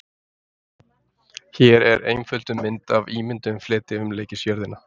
Hér er einfölduð mynd af ímynduðum fleti umleikis jörðina.